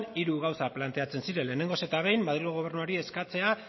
hiru gauza planteatzen ziren lehengoz eta behin madrilgo gobernuari eskatzea